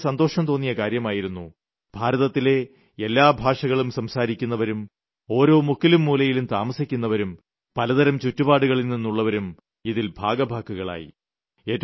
എനിയ്ക്കും വളരെ സന്തോഷംതോന്നിയ കാര്യമായിരുന്നു ഭാരതത്തിലെ വിവധ ഭാഷകൾ സംസാരിക്കുന്നവരും ഓരോ മുക്കിലും മൂലയിലും താമസിക്കുന്നവരും പലതരം ചുറ്റുപാടുകളിൽ നിന്നുള്ളവരും ഇതിൽ ഭാഗഭാക്കുകളായി